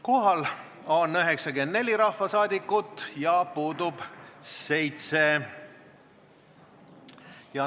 Kohaloleku kontroll Kohal on 94 rahvasaadikut ja puudub 7.